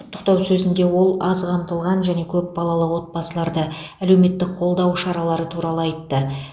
құттықтау сөзінде ол аз қамтылған және көп балалы отбасыларды әлеуметтік қолдау шаралары туралы айтты